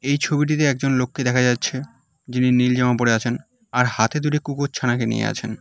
এই ছবিটিতে একজন লোককে দেখা যাচ্ছে যিনি নীল জামা পরে আছেন আর হাতে দুটি কুকুর ছানাকে নিয়ে আছেন।